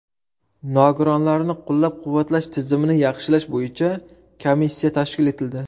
Nogironlarni qo‘llab-quvvatlash tizimini yaxshilash bo‘yicha komissiya tashkil etildi.